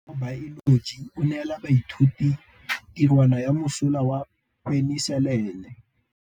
Motlhatlhaledi wa baeloji o neela baithuti tirwana ya mosola wa peniselene.